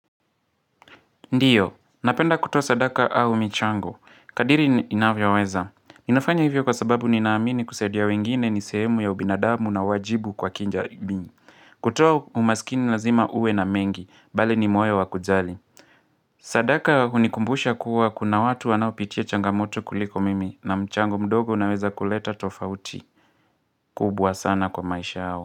Ndio, napenda kutoa sadaka au michango. Kadiri inavyoweza. Ninafanya hivyo kwa sababu ninaamini kusadia wengine nisehemu ya ubinadamu na wajibu kwa kijamii. Kutoa umaskini lazima uwe na mengi, bali ni moyo wa kujali. Sadaka hunikumbusha kuwa kuna watu wanao pitia changamoto kuliko mimi na mchango mdogo unaweza kuleta tofauti. Kubwa sana kwa maisha yao.